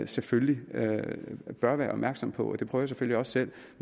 selvfølgelig bør være opmærksom på det prøver jeg selvfølgelig også selv